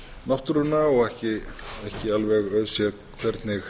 náttúruna og ekki alveg auðséð hvernig